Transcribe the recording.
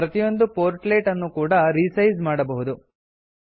ಪ್ರತಿಯೊಂದು ಪೋರ್ಟ್ಲೆಟ್ ಅನ್ನೂ ಕೂಡಾ ರಿಸೈಜ್ ಮಾಡಬಹುದು